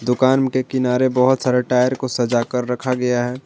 दुकान के किनारे बहुत सारे टायर को सजा कर रखा गया है।